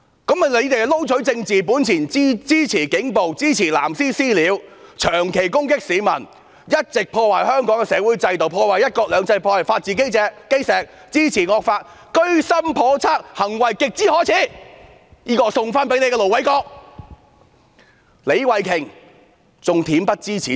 他們為撈取政治本錢，支持警暴，支持"藍絲""私了"，長期攻擊市民，一直破壞香港的社會制度，破壞"一國兩制"，破壞法治基石，支持惡法，居心叵測，行為極之可耻，這是我回贈給盧偉國議員的。